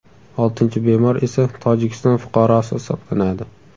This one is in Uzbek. Oltinchi bemor esa Tojikiston fuqarosi hisoblanadi.